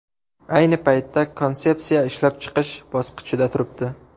Ayni paytda konsepsiya ishlab chiqish bosqichida turibdi.